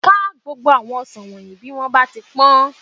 Ká gbogbo àwọn ọsàn wọ̀nyìí bí wọ́n bá ti pé